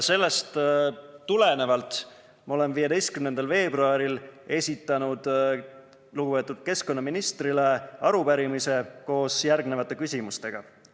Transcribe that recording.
Sellest tulenevalt esitasin 15. veebruaril lugupeetud keskkonnaministrile arupärimise koos järgnevate küsimustega.